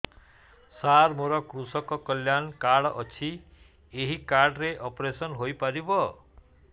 ସାର ମୋର କୃଷକ କଲ୍ୟାଣ କାର୍ଡ ଅଛି ଏହି କାର୍ଡ ରେ ଅପେରସନ ହେଇପାରିବ